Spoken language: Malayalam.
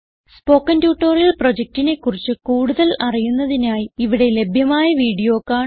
സ്പോകെൻ ട്യൂട്ടോറിയൽ പ്രൊജക്റ്റിനെ കുറിച്ച് കൂടുതൽ അറിയുന്നതിനായി ഇവിടെ ലഭ്യമായ വീഡിയോ കാണുക